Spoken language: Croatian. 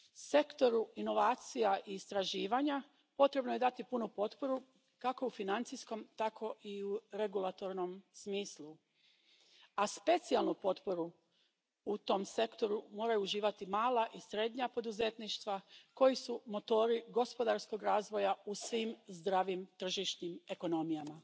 Sektoru inovacija i istraživanja potrebno je dati punu potporu kako u financijskom, tako i u regulatornom smislu, a specijalnu potporu u tom sektoru moraju uživati mala i srednja poduzetništva koji su motori gospodarskog razvoja u svim zdravim tržišnim ekonomijama.